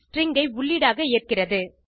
string ஐ உள்ளீடாக ஏற்கிறது